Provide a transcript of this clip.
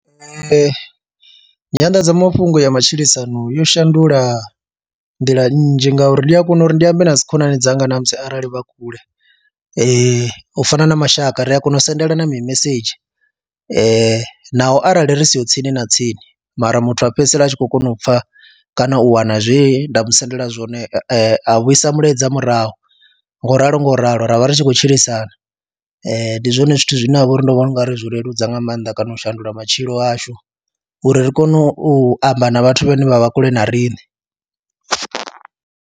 Nyanḓadzamafhungo ya matshilisano yo shandula nḓila nnzhi ngauri ndi a kona uri ndi ambe na dzi khonani dzanga na musi arali vha kule, u fana na mashaka ri a kona u sendelana mimesedzhi naho arali ri siho tsini na tsini mara muthu a fhedzisela a tshi khou kona u pfha kana u wana zwe nda mu sendela zwone, a vhuisa mulaedza murahu nga u ralo nga u ralo ra vha ri tshi khou tshilisana. Ndi zwone zwithu zwine ha vha uri ndo vhona u nga ri zwi leludza nga maanḓa kana u shandula matshilo ashu uri ri kone u amba na vhathu vhane vha vha kule na riṋe.